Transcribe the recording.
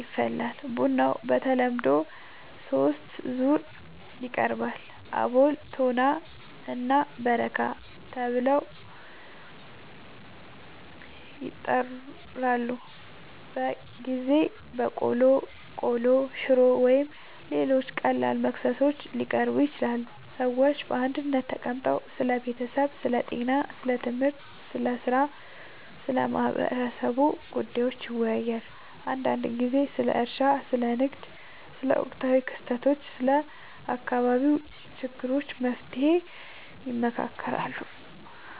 ይፈላል። ቡናው በተለምዶ በሦስት ዙር ይቀርባል፤ አቦል፣ ቶና እና በረካ ተብለው ይጠራሉበ ጊዜ በቆሎ፣ ቆሎ፣ ሽሮ ወይም ሌሎች ቀላል መክሰሶች ሊቀርቡ ይችላሉ። ሰዎች በአንድነት ተቀምጠው ስለ ቤተሰብ፣ ስለ ጤና፣ ስለ ትምህርት፣ ስለ ሥራ እና ስለ ማህበረሰቡ ጉዳዮች ይወያያሉ። አንዳንድ ጊዜ ስለ እርሻ፣ ስለ ንግድ፣ ስለ ወቅታዊ ክስተቶች እና ስለ አካባቢው ችግሮች መፍትሔ ይመካከራሉ